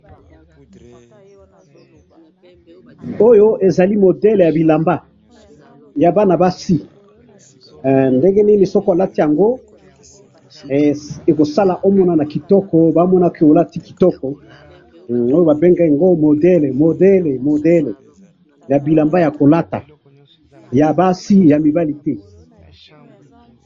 Oyo ezali modele yabilamba, yabana basi, eh! Ndenge nini soki olati yango, eh! Ekosala omonana kitoko, bamona ke olati kitoko, nde babengi yango modele, modele, modele, yabilamba yakolata, .yabasi yamibali te